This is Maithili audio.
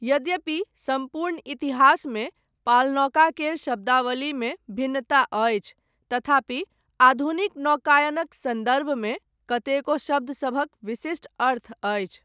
यद्यपि, सम्पूर्ण इतिहासमे, पालनौका केर शब्दावलीमे भिन्नता अछि, तथापि, आधुनिक नौकायनक सन्दर्भमे, कतेको शब्दसभक विशिष्ट अर्थ अछि।